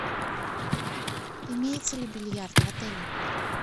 имеется ли бильярд в отеле